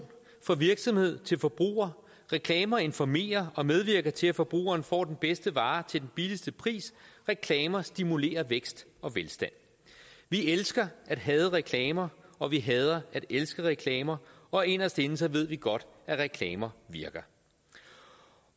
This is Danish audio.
fra virksomhed til forbruger reklamer informerer og medvirker til at forbrugeren får den bedste vare til den billigste pris reklamer stimulerer vækst og velstand vi elsker at hade reklamer og vi hader at elske reklamer og inderst inde ved vi godt at reklamer virker